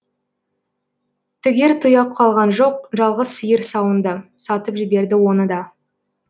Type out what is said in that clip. тігер тұяқ қалған жоқ жалғыз сиыр сауынды сатып жіберді оны да